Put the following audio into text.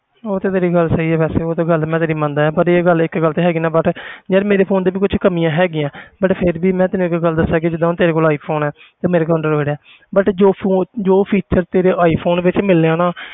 ਉਹ ਤੇ ਤੇਰੀ ਗੱਲ ਸਹੀ ਹੈ ਵੈਸੇ ਉਹ ਤਾਂ ਗੱਲ ਮੈਂ ਤੇਰੀ ਮੰਨਦਾ ਹੈ ਪਰ ਇਹ ਗੱਲ ਇੱਕ ਗੱਲ ਤੇ ਹੈਗੀ ਨਾ but ਯਾਰ ਮੇਰੇ phone ਦੇ ਵੀ ਕੁਛ ਕਮੀਆਂ ਹੈਗੀਆਂ but ਫਿਰ ਵੀ ਮੈਂ ਤੈਨੂੰ ਇੱਕ ਗੱਲ ਦੱਸਾਂ ਕਿ ਜਿੱਦਾਂ ਹੁਣ ਤੇਰੇ ਕੋਲ iphone ਹੈ ਤੇ ਮੇਰੇ ਕੋਲ android ਹੈ but ਜੋ phone ਜੋ feature ਤੇਰੇ iphone ਵਿੱਚ ਮਿਲਣੇ ਆ ਨਾ